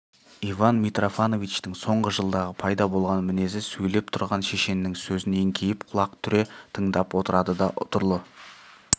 иван мнтрофановичтің соңғы жылдағы пайда болған мінезі сөйлеп тұрған шешеннің сөзін еңкейіп құлақ түре тыңдап отырады да ұтырлы